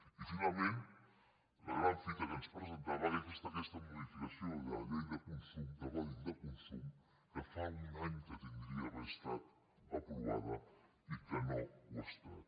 i finalment la gran fita que ens presentava que és aquesta modificació de la llei del consum del codi de consum que fa un any que hauria d’haver estat aprovada i que no ho ha estat